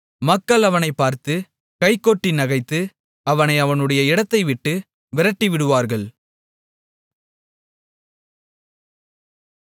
மக்கள் அவனைப் பார்த்துக் கைகொட்டி நகைத்து அவனை அவனுடைய இடத்தை விட்டு விரட்டிவிடுவார்கள்